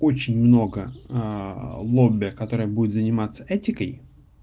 очень много лоббя которая будет заниматься этикой